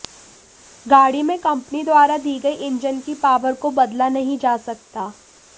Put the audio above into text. गाड़ी में कंपनी द्वारा दी गई इंजन की पावर को बदला नहीं जा सकता